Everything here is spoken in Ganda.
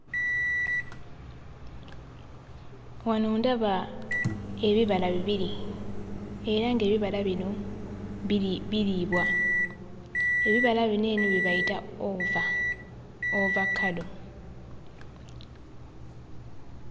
Wano ndaba ebibala bibiri era ng'ebibala bino biriibwa. Ebibala bino eno bye bayita ova; ovakkado.